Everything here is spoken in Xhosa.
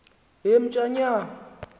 emtshanyana